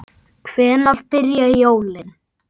Hvenær byrja jólin?